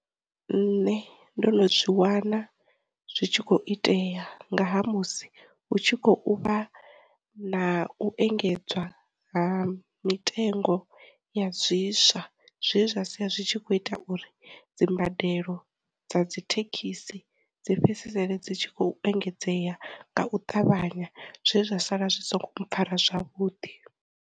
Nṋe ndo no zwi wana zwi tshi kho itea nga ha musi hu tshi khou vha na u engedzwa ha mitengo ya zwi swa, zwe zwa sia zwi tshi kho ita uri dzi mbadelo dza dzithekhisi dzi fhedzisele dzi tshi khou engedzea nga u ṱavhanya zwe zwa sala zwi songo mpfara zwavhuḓi.